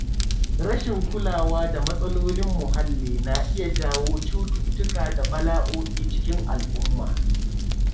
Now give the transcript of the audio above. Rashin kulawa da matsalolin muhalli na iya jawo cututtuka da bala’o’i a cikin al’umma.